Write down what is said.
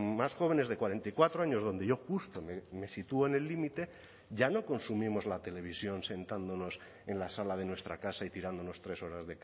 más jóvenes de cuarenta y cuatro años donde yo justo me sitúo en el límite ya no consumimos la televisión sentándonos en la sala de nuestra casa y tirándonos tres horas